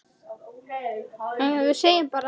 Óbó, horn og orgel.